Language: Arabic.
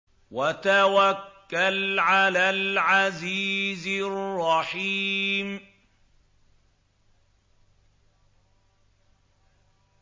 وَتَوَكَّلْ عَلَى الْعَزِيزِ الرَّحِيمِ